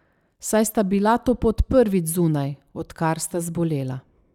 Saj sta bila to pot prvič zunaj, odkar sta zbolela.